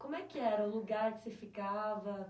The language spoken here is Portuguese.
Como é que era o lugar que você ficava